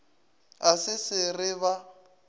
a se se re ba